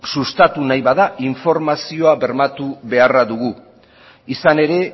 sustatu nahi bada informazio bermatu beharra dugu izan ere